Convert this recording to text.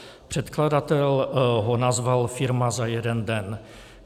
Předkladatel ho nazval "firma za jeden den".